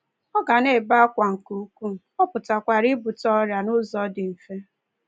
Ọ ga na-ebe akwa nke ukwuu, ọ pụkwara ibute ọrịa n’ụzọ dị mfe.